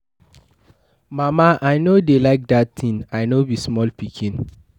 Mama I no dey like dat thing. I no be small pikin